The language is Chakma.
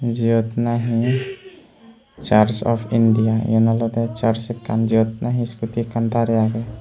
jiyot nahi church of India yen olode church ekkan jiyot nahi skooti ekkan dare agey.